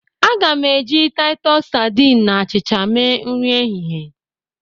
Aga m eji Taịtus sadịn na achịcha mee nri ehihie.